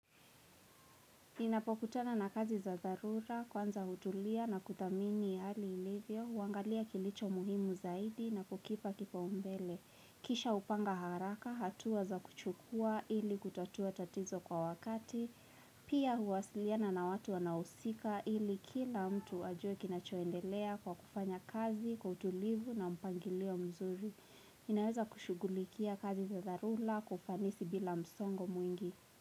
Ninapokutana na kazi za zarura, kwanza hutulia na kutamini hali ilivyo, wangalia kilicho muhimu zaidi na kukipa kipa umbele. Kisha upanga haraka, hatu waza kuchukua ili kutatua tatizo kwa wakati, pia huwasiliana na watu wanausika ili kila mtu ajue kinachoendelea kwa kufanya kazi kutulivu na mpangilio mzuri. Ninaweza kushugulikia kazi za zadharura kufanisi bila msongo mwingi.